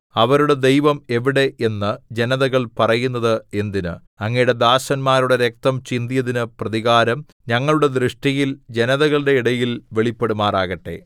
അവരുടെ ദൈവം എവിടെ എന്ന് ജനതകൾ പറയുന്നത് എന്തിന് അങ്ങയുടെ ദാസന്മാരുടെ രക്തം ചിന്തിയതിന് പ്രതികാരം ഞങ്ങളുടെ ദൃഷ്ടിയിൽ ജനതകളുടെ ഇടയിൽ വെളിപ്പെടുമാറാകട്ടെ